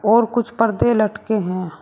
और कुछ पर्दे लटके हैं।